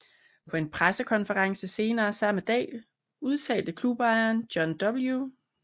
På en pressekonference senere samme dag udtalte klubejeren John W